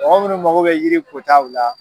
Mɔgɔ munnu mako be yiri kotaw la